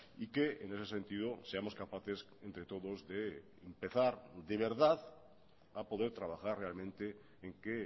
y que en ese sentido seamos capaces entre todos de empezar de verdad a poder trabajar realmente en que